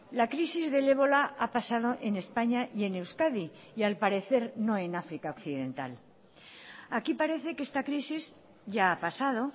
la crisis del ébola ha pasado en españa y en euskadi y al parecer no en áfrica occidental aquí parece que esta crisis ya ha pasado